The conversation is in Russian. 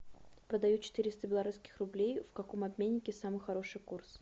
продаю четыреста белорусских рублей в каком обменнике самый хороший курс